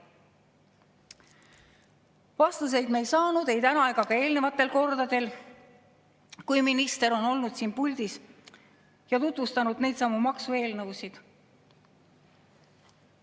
Vastuseid me täna ei saanud ega ole saanud ka eelmistel kordadel, kui minister on siin puldis olnud ja neidsamu maksueelnõusid tutvustanud.